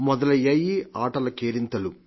మొదలయ్యాయి ఆటలు కేరింతలు